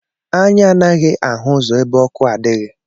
Anya anaghị ahụ ụzọ ebe ọkụ adighi